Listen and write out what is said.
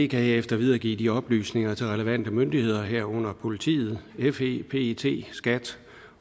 kan herefter videregive de oplysninger til relevante myndigheder herunder politiet fe pet skat